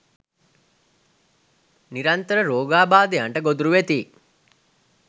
නිරන්තර රෝගාබාධයන්ට ගොදුරු වෙති.